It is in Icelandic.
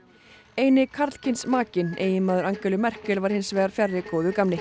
eini karlkyns makinn eiginmaður Angelu Merkel var hins vegar fjarri góðu gamni